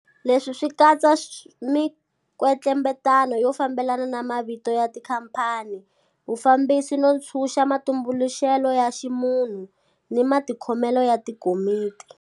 Leswi swi katsa mikwetlembetano yo fambelana na mavito ya tikhamphani, vufambisi no ntshuxa matumbuluxelo ya ximunhu ni matikhomelo ya tikomiti.